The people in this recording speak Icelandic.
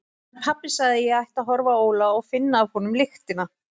En pabbi sagði að ég ætti að horfa á Óla og finna af honum lyktina.